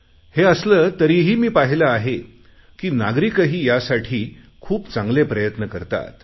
हे असले तरीही मी पाहिले आहे की नागरिकही यासाठी खूप चांगले प्रयत्न करतात